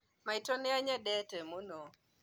Maitũ nĩanyendete mũno